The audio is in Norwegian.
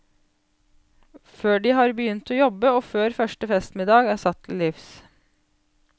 Før de har begynt å jobbe og før første festmiddag er satt til livs.